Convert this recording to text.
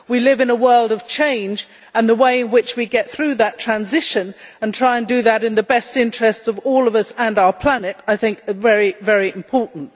We live in a world of change, and the way in which we get through that transition and try to do that in the best interests of all of us and our planet is very important.